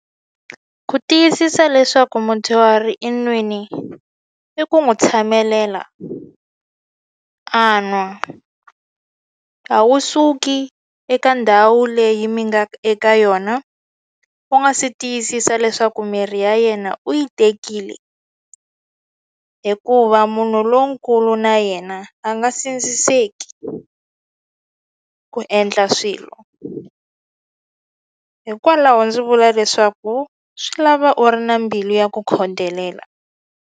Ku tiyisisa leswaku mudyuhari i nwini i ku n'wi tshamelela a nwa a wu suki eka ndhawu leyi mi nga eka yona u nga si tiyisisa leswaku mirhi ya yena u yi tekile hikuva munhu lonkulu na yena a nga sindziseki ku endla swilo u hikwalaho ndzi vula leswaku swi lava u ri na mbilu ya ku khodelela.